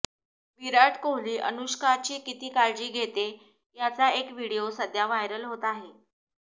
विराट कोहली अनुष्काची किती काळजी घेते याचा एक व्हिडिओ सध्या व्हायरल होत आहे